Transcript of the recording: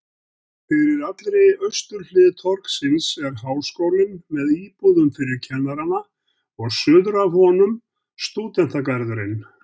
Fyrir allri austurhlið torgsins er Háskólinn með íbúðum fyrir kennarana og suður af honum stúdentagarðurinn.